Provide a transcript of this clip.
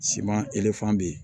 Siman bɛ yen